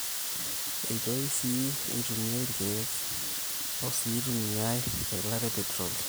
eitoi sii eitumia irkeek o sii eitumiai eilata peteroli